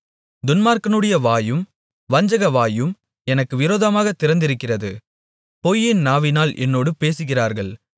துன்மார்க்கனுடைய வாயும் வஞ்சகவாயும் எனக்கு விரோதமாகத் திறந்திருக்கிறது பொய் நாவினால் என்னோடு பேசுகிறார்கள்